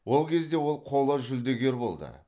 ол кезде ол қола жүлдегер болды